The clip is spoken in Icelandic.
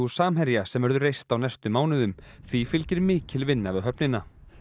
Samherja sem verður reist á næstu mánuðum því fylgir mikil vinna við höfnina